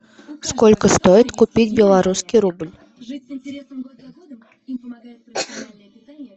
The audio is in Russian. сколько стоит купить белорусский рубль